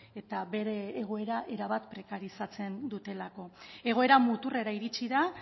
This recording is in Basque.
eta bere egoera erabat prekarizatzen dutelako egoera muturrera iritsi da